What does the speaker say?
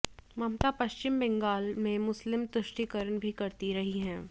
ममता पश्चिम बंगाल में मुस्लिम तुष्टीकरण भी करती रही हैं